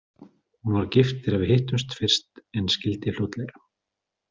Hún var gift þegar við hittumst fyrst en skildi fljótlega.